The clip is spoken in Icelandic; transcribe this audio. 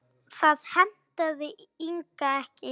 Það hentaði Inga ekki.